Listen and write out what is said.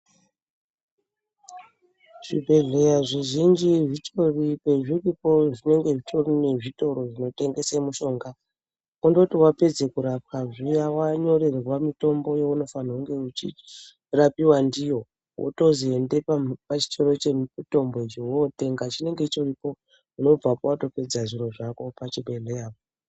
Zvibhedhleya zvizhinji zvitori pezviripo zvinenge zvitori nezvitoro zvinotengese mushonga kundoti wapedze kurapwa zviya wanyorerwe mitombo yaunofanirwe kunge uchirapiwa ndiyo wotozi ende pachitoro chemutombo icho wotenga chinenge chitoripo unobvapo watopedza zviro zvako pachibhedhleyapo.